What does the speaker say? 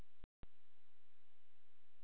En svo var ekki hjá öllum fjölskyldumeðlimum.